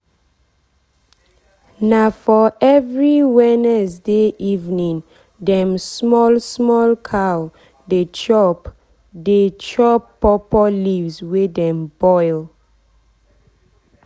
na for every wednesday evening dem small small cow dey chop dey chop pawpaw leaves wey dem boil.